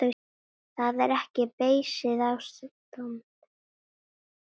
Það er ekki beysið ástand.